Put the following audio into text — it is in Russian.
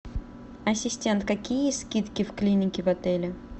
ассистент какие скидки в клинике в отеле